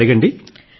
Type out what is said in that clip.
అడగండి